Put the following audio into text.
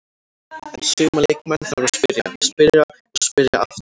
En suma leikmenn þarf að spyrja, spyrja og spyrja aftur.